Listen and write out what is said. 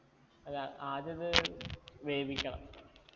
അല്ല ആദ്യം അത് വേവിക്കണം